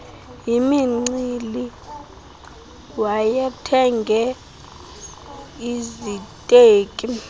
yimincili wayethenge iziteki